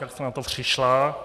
Jak jste na to přišla?